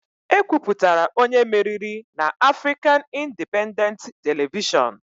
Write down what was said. E kwupụtara onye meriri na Afrịkan Indipendentị Televishọnụ